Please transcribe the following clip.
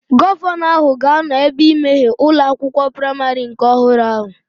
Gọvanọ ahụ ga-anọ ebea imeghe ụlọ akwụkwọ praimarị nke ọhụrụ ahụ